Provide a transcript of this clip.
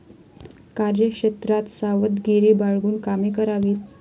कार्यक्षेत्रात सावधगिरी बाळगून कामे करावीत.